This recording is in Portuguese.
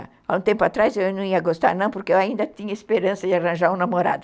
Há um tempo atrás eu não ia gostar, não, porque eu ainda tinha esperança de arranjar um namorado.